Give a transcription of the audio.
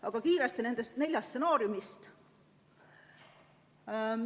Aga kiiresti nendest neljast stsenaariumist.